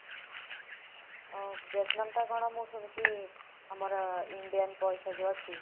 ଅ ଭିଏତନାମଟା କଣ ମୁଁ ଶୁଣିଛି, ଆମର Indian ଅଛି।